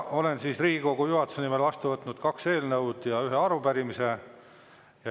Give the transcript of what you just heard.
Olen Riigikogu juhatuse nimel vastu võtnud kaks eelnõu ja ühe arupärimise.